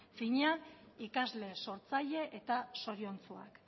finean ikasle sortzaile eta zoriontsuak